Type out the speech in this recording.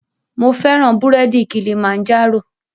Mo fẹ́ràn búrèdì Kilimanjaro